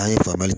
An ye fagali kɛ